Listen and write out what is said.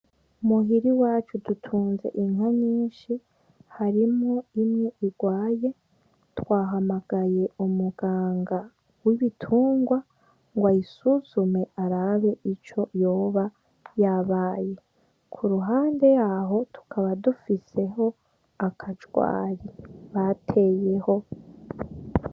Muhira iwacu dutunze inka nyinshi harimwo imwe irwaye, twahamagaye umuganga w'ibitunrwa ngo ayisuzume arabe ico yoba yabaye, ku ruhande yaho tukaba dufiseho akajwayi bateyeho.